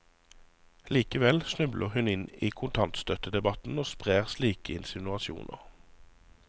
Likevel snubler hun inn i kontantstøttedebatten og sprer slike insinuasjoner.